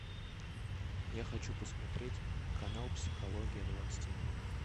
я хочу посмотреть канал психология двадцать один